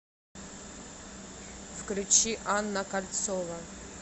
включи анна кольцова